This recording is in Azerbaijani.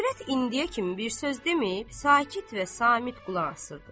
Övrət indiyə kimi bir söz deməyib sakit və samit qulaq asırdı.